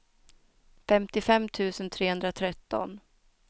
femtiofem tusen trehundratretton